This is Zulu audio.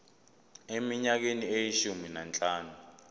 eminyakeni eyishumi nanhlanu